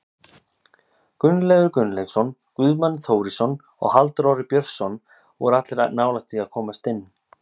Gunnleifur Gunnleifsson, Guðmann Þórisson og Halldór Orri Björnsson voru allir nálægt því að komast inn.